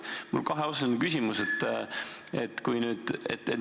Mul on kaheosaline küsimus.